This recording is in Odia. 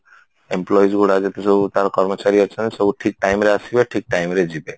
employees ଗୁଡା ଯେତେ ସବୁ ତାର କର୍ମଚାରୀ ଅଛନ୍ତି ସବୁ ଠିକ time ରେ ଆସିବେ ଠିକ time ରେ ଯିବେ